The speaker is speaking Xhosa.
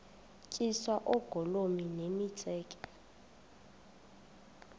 tyiswa oogolomi nemitseke